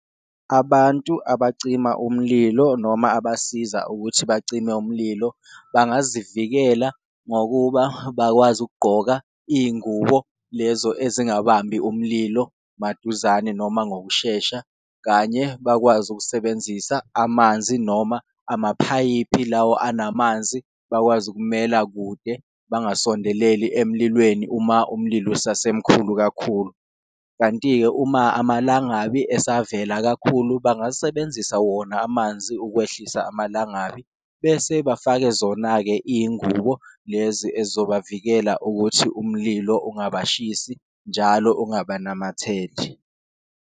Abantu abacima umlilo noma abasiza ukuthi bacime umlilo bangazivikela ngokuba bakwazi ukugqoka iyingubo lezo ezingabambi umlilo maduzane noma ngokushesha. Kanye bakwazi ukusebenzisa amanzi noma amaphayiphi lawo anamanzi, bakwazi ukumela kude bengasondeleli emlilweni uma umlilo usase mkhulu kakhulu. Kanti-ke, uma amalangabi esavela kakhulu bangasebenzisa wona amanzi ukwehlisa amalangabi, bese bafake zona-ke iyingubo lezi ezizobavikela ukuthi umlilo ungabashisi, njalo ungabanamatheli.